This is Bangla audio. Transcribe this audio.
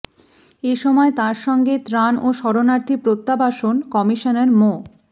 এ সময় তার সঙ্গে ত্রাণ ও শরণার্থী প্রত্যাবাসন কমিশনার মো